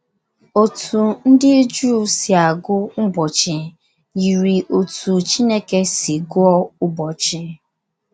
Otú ndị Jụụ si agụ ụbọchị yiri otú Chineke si gụọ ụbọchị.